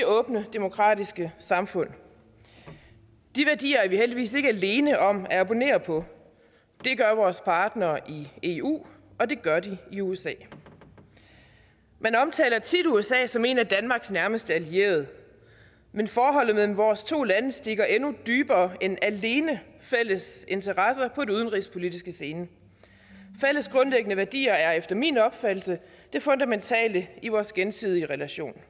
åbne demokratiske samfund de værdier er vi heldigvis ikke alene om at abonnere på det gør vores partnere i eu og det gør de i usa man omtaler tit usa som en af danmarks nærmeste allierede men forholdet mellem vores to lande stikker endnu dybere end alene fælles interesser på den udenrigspolitiske scene fælles grundlæggende værdier er efter min opfattelse det fundamentale i vores gensidige relation